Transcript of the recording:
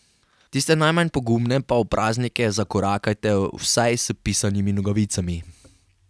Tiste najmanj pogumne pa v praznike zakorakajte vsaj s pisanimi nogavicami.